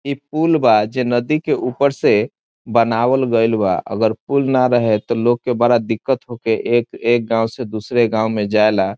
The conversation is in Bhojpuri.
इ पुल बा जे नदी के ऊपर से बनावल गइल बा अगर पुल ने रहे तो लोग के बड़ा दिक्कत होके एक एक गांव से दूसरे गांव मे जाला।